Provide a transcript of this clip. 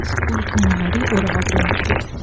ஸ்கூலுக்கு முன்னாடி ஒரு ஆட்டோ நிக்குது.